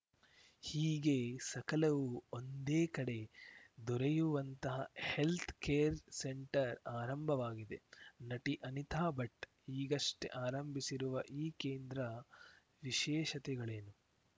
ಹೀಗೆ ಸಕಲವೂ ಒಂದೇ ಕಡೆ ದೊರೆಯುವಂತಹ ಹೆಲ್ತ್‌ ಕೇರ್‌ ಸೆಂಟರ್‌ ಆರಂಭವಾಗಿದೆ ನಟಿ ಅನಿತಾ ಭಟ್‌ ಈಗಷ್ಟೆಆರಂಭಿಸಿರುವ ಈ ಕೇಂದ್ರ ವಿಶೇಷತೆಗಳೇನು